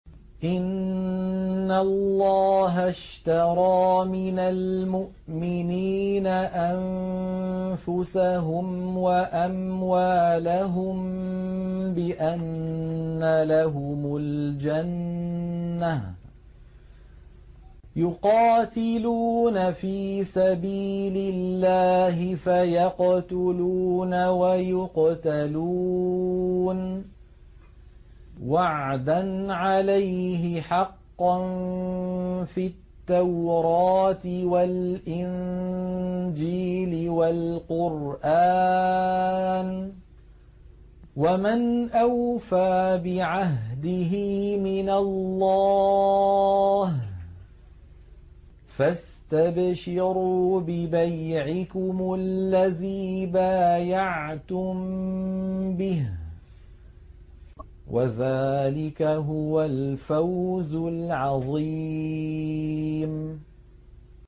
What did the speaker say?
۞ إِنَّ اللَّهَ اشْتَرَىٰ مِنَ الْمُؤْمِنِينَ أَنفُسَهُمْ وَأَمْوَالَهُم بِأَنَّ لَهُمُ الْجَنَّةَ ۚ يُقَاتِلُونَ فِي سَبِيلِ اللَّهِ فَيَقْتُلُونَ وَيُقْتَلُونَ ۖ وَعْدًا عَلَيْهِ حَقًّا فِي التَّوْرَاةِ وَالْإِنجِيلِ وَالْقُرْآنِ ۚ وَمَنْ أَوْفَىٰ بِعَهْدِهِ مِنَ اللَّهِ ۚ فَاسْتَبْشِرُوا بِبَيْعِكُمُ الَّذِي بَايَعْتُم بِهِ ۚ وَذَٰلِكَ هُوَ الْفَوْزُ الْعَظِيمُ